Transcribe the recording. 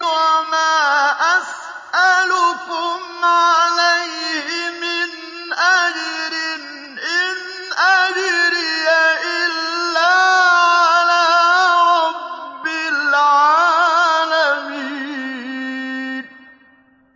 وَمَا أَسْأَلُكُمْ عَلَيْهِ مِنْ أَجْرٍ ۖ إِنْ أَجْرِيَ إِلَّا عَلَىٰ رَبِّ الْعَالَمِينَ